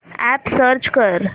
app search कर